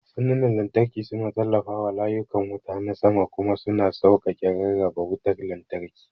Sandunan lantarki suna tallafawa layukan wuta na sama kuma suna sauƙaƙe rarraba wutar lantarki.